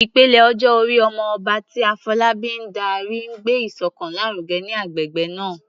Ìpele ọjọ́ orí "Omo Oba," tí Afolabi ń darí, ń gbé ìṣọ̀kan lárugẹ ní agbègbè náà.